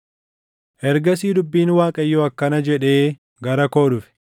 Ergasii dubbiin Waaqayyoo akkana jedhee gara koo dhufe: